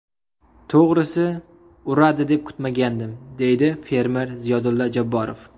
To‘g‘risi, uradi deb kutmagandim”, deydi fermer Ziyodulla Jabborov.